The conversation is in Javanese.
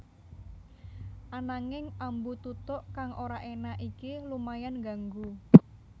Ananging ambu tutuk kang ora énak iki lumayan ngganggu